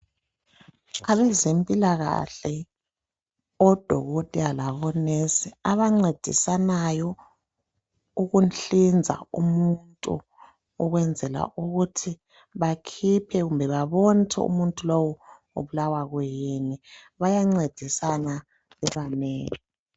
Abezempilakahle odokotela labo"nurse"abancedisanayo ukuhlinza umuntu ukwenzela ukuthi bakhiphe kumbe babone ukuthi umuntu lowu ubulawa kuyini. Bayancedisana bebanengi.